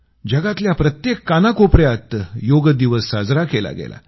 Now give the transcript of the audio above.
जगातल्या प्रत्येक कानाकोपऱ्यात योग दिवस साजरा केला गेला